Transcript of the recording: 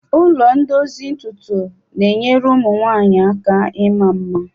Ụlọ ndozi ntutu na-enyere ụmụ nwanyị aka ịma mma.